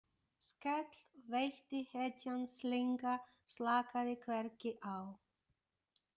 Skell veitti hetjan slynga slakaði hvergi á.